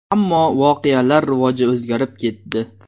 Ammo voqealar rivoji o‘zgarib ketdi.